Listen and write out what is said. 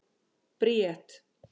Bríet